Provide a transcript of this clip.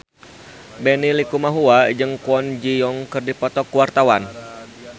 Benny Likumahua jeung Kwon Ji Yong keur dipoto ku wartawan